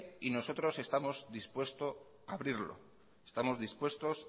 y nosotros estamos dispuestos a abrirlo estamos dispuestos